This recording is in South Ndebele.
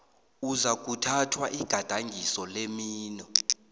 uzakuthathwa igadangiso lemino